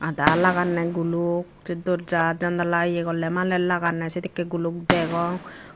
daar lagande guluk se dorja jandala ye golle malen lagande sedekke degong.